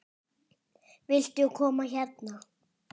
Viltu koma hérna?